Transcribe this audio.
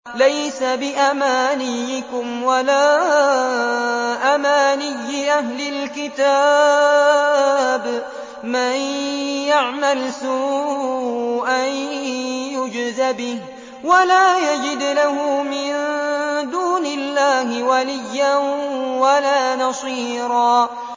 لَّيْسَ بِأَمَانِيِّكُمْ وَلَا أَمَانِيِّ أَهْلِ الْكِتَابِ ۗ مَن يَعْمَلْ سُوءًا يُجْزَ بِهِ وَلَا يَجِدْ لَهُ مِن دُونِ اللَّهِ وَلِيًّا وَلَا نَصِيرًا